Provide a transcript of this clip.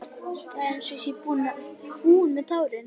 Það er einsog ég sé búin með tárin.